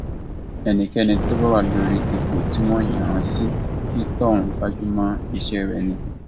ẹnikẹni tó bá wà lórí ipò tí wọn yàn án sí kí tóhun gbájú mọ iṣẹ rẹ ni